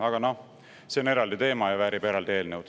Aga noh, see on eraldi teema ja väärib eraldi eelnõu.